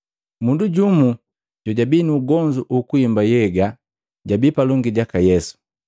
Mundu jumu jojubi nu ugonzu ukuimba nhyega jabii palongi jaka Yesu.